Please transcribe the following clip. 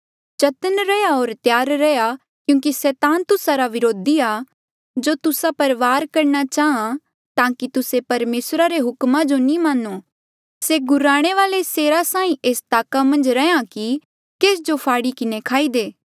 चतन्न रैहया होर त्यार रैहया क्यूंकि सैतान तुस्सा रा व्रोधी आ जो तुस्सा पर वार करणा चाहां ताकि तुस्से परमेसरा रे हुकमा जो नी मान्नो से गुर्राणे वाले सेरा साहीं एस ताका मन्झ रैंहयां कि केस जो फाड़ी किन्हें खाई दे